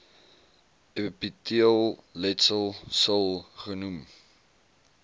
epiteelletsel sil genoem